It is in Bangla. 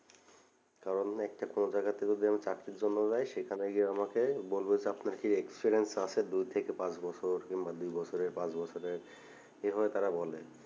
কারণ একটা কোনো জায়গাতে যদি আমি চাকরির জন্য যাই সেখানে গিয়ে আমাকে বলবে যে আপনার কি experience আছে দুই থেকে পাঁচ বছর কিংবা দুই বছরের পাঁচ বছরের এই ভাবে তারা বলে